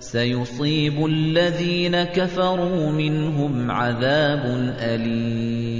سَيُصِيبُ الَّذِينَ كَفَرُوا مِنْهُمْ عَذَابٌ أَلِيمٌ